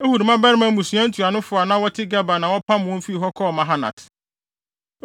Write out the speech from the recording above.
Ehud mmabarima mmusua ntuanofo a na wɔte Geba na wɔpam wɔn fii hɔ kɔɔ Manahat: